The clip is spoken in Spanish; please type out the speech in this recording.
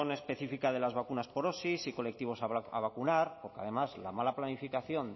específica de las vacunas por osi y colectivos a vacunar porque además la mala planificación